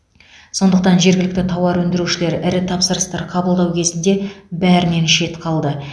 сондықтан жергілікті тауар өндірушілер ірі тапсырыстар қабылдау кезінде бәрінен шет қалды